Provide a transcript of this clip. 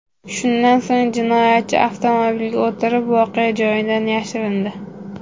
Shundan so‘ng jinoyatchi avtomobiliga o‘tirib, voqea joyidan yashirindi.